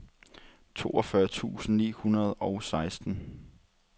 toogfyrre tusind ni hundrede og seksten